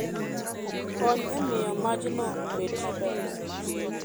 Kony e miyo majno obed maber